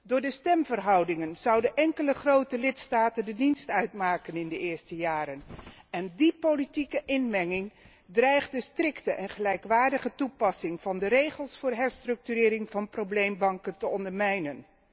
Door de stemverhoudingen zouden enkele grote lidstaten de dienst uitmaken in de eerste jaren en die politieke inmenging dreigt de strikte en gelijkwaardige toepassing van de regels voor herstructurering van probleembanken te ondermijnen.